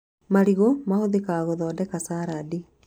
Marigũ mahũthikaga gũthondeka carandi